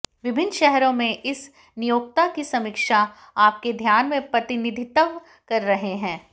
विभिन्न शहरों में इस नियोक्ता की समीक्षा आपके ध्यान में प्रतिनिधित्व कर रहे हैं